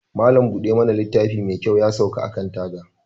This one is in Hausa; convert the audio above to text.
Malam Buda littafi mekyau yasauka akan taga.